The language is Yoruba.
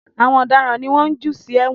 Àwọn ọ̀daràn ni wọ́n ń jù sí èwọ̀n